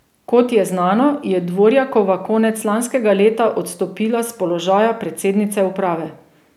Kot je znano, je Dvorjakova konec lanskega leta odstopila s položaja predsednice uprave.